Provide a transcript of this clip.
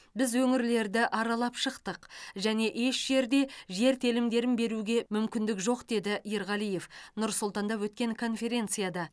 біз өңірлерді аралап шықтық және еш жерде жер телімдерін беруге мүмкіндік жоқ деді ерғалиев нұр сұлтанда өткен конференцияда